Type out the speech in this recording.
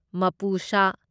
ꯃꯄꯨꯁꯥ